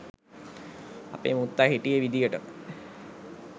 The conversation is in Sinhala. අපේ මුත්තා හිටිය විදියටම